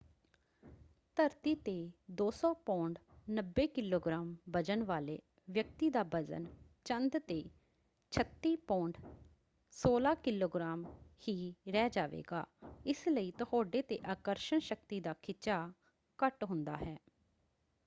ਧਰਤੀ 'ਤੇ 200 pound 90 kilogram ਵਜ਼ਨ ਵਾਲੇ ਵਿਅਕਤੀ ਦਾ ਵਜ਼ਨ ਚੰਦ 'ਤੇ 36 ਪੌਂਡ 16 ਕਿਲੋਗ੍ਰਾਮ ਹੀ ਰਹਿ ਜਾਵੇਗਾ। ਇਸ ਲਈ ਤੁਹਾਡੇ 'ਤੇ ਆਕਰਸ਼ਣ ਸ਼ਕਤੀ ਦਾ ਖਿਚਾਅ ਘੱਟ ਹੁੰਦਾ ਹੈ।